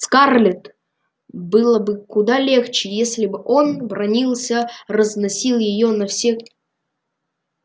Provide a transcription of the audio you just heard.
скарлетт было бы куда легче если бы он бранился разносил её на все корки и раскаты его голоса сотрясали бы дом